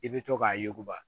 I bɛ to k'a yuguba